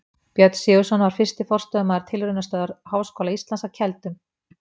Björn Sigurðsson var fyrsti forstöðumaður Tilraunastöðvar Háskóla Íslands að Keldum.